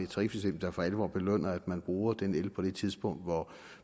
tarifsystem der for alvor belønner at man bruger den el på det tidspunkt hvor